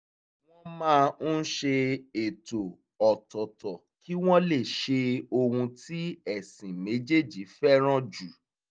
wọ́n máa ń ṣe ètò ọ̀tọ̀ọ̀tọ̀ kí wọ́n lè ṣe ohun tí ẹ̀sìn méjèèjì fẹ́ràn jù